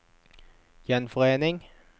gjenforening